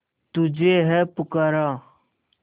तुझे है पुकारा